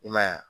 I ma ye wa